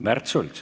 Märt Sults.